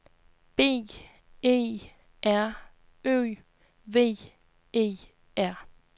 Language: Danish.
B E R Ø V E R